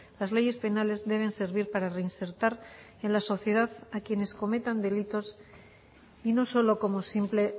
las leyes penales deben servir para reinsertar en la sociedad a quienes cometan delitos y no solo como simple